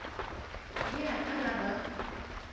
le a ka la ba